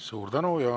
Suur tänu!